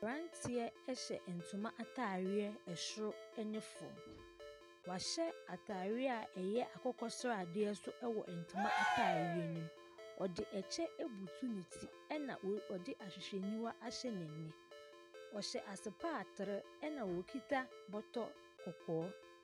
Abrabteɛhyɛ ntoma ataareɛ soro ne fam. Wahyɛ ataareɛ a ɛyɛ akokɔ sradeɛ nso wɔ ntoma ataaareɛ no mu. Ↄde ɛkyɛ abutu ne ti ɛna oo ɔde ahwehwɛniwa ahyɛ n’ani. Ↄhyɛ asopaatre ɛna okita bɔtɔ kɔkɔɔ.